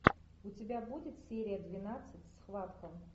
у тебя будет серия двенадцать схватка